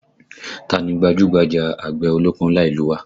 Táa ni gbajúgbajà àgbẹ̀ ọlọ́kọ́ ńlá ìlú u wa?